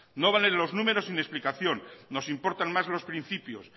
no valen los números sin explicación nos importan más los principios